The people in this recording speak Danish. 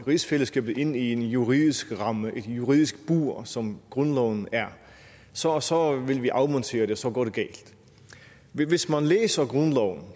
rigsfællesskabet ind i en juridisk ramme et juridisk bur som grundloven er så så vil vi afmontere det og så går det galt hvis man læser